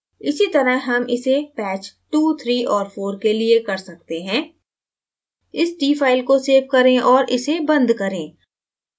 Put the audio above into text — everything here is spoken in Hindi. इसीतरह हम इसे patch 23 और 4 के लिए कर सकते हैं इस t file को सेव करें और इसे बंद करें